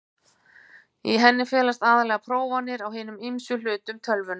Í henni felast aðallega prófanir á hinum ýmsu hlutum tölvunnar.